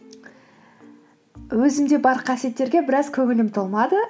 өзімде бар қасиеттерге біраз көңілім толмады